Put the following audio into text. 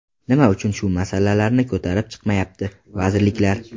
Nima uchun shu masalalarni ko‘tarib chiqmayapti vazirliklar?